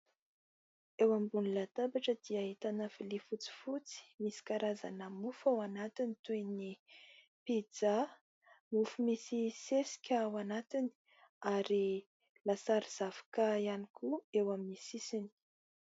Eo ambony latabatra dia ahitana vilia fotsifotsy misy karazana mofo ao anatiny toa ny « pizza », mofo misy sesika ao anatiny ary lasary zavoka ihany koa eo amin'ny sisiny.